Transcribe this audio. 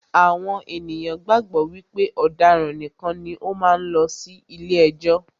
Àwọn ènìyàn gbàgbọ́ wípé àwọn ọ̀daràn nìkan ni ó máa ń lọ sí ilé ẹjọ́.